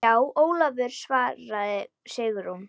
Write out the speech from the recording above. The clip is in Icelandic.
Já, Ólafur svaraði Sigrún.